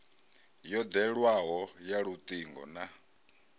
yo ḓewleaho ya luṱingo na